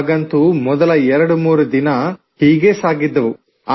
ಆಗಂತೂ ಮೊದಲ 23 ದಿನ ಹೀಗೆ ಸಾಗಿದ್ದವು